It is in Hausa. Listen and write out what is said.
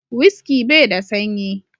"Whisky " bai da sanyi.